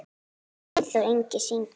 Eyþór Ingi syngur.